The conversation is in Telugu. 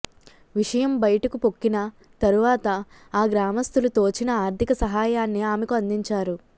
విషయం బయటకు పొక్కిన తరువాత ఆ గ్రామస్థులు తోచిన ఆర్థిక సహాయాన్ని ఆమెకు అందించారు